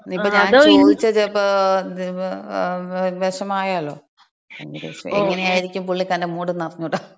ഇനിയിപ്പോ ഞാൻ ചോദിച്ചാ ചെലപ്പൊ വെഷമായാലോ. എങ്ങനെയായിരിക്കും പുള്ളിക്കാരന്‍റെ മൂഡെന്നറിഞ്ഞൂടാ.